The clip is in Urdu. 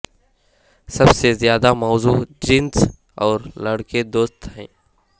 سب سے زیادہ موزوں جینس اور لڑکے دوست ہیں